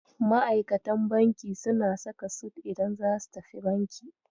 Ma'aikatan banki suna saka sut idan zasu tafi banki.